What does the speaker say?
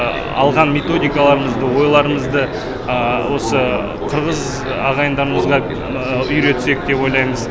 алған методикаларамызды ойларымызды осы қырғыз ағайындарымызға үйретсек деп ойлаймыз